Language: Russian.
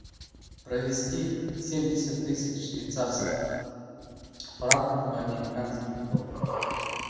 провести семьдесят тысяч швейцарских франков в американские доллары